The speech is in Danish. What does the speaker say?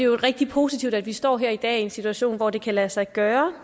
rigtig positivt at vi står her i dag i en situation hvor det kan lade sig gøre